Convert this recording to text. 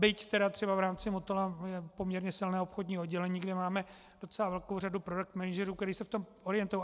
Byť třeba v rámci Motola je poměrně silné obchodní oddělení, kde máme docela velkou řadu product managerů, kteří se v tom orientují.